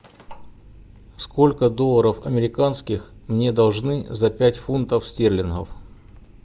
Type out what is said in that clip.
сколько долларов американских мне должны за пять фунтов стерлингов